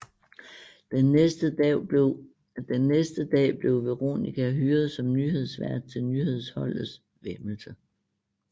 Den næste dag bliver Veronica hyret som nyhedsvært til nyhedsholdets væmmelse